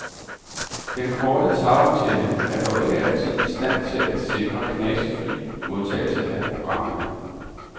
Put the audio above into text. Den korte tagantenne er dog ikke altid i stand til at sikre knasefri modtagelse af programmerne.